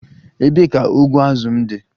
Ebee ka ụgbụ azụ m dị?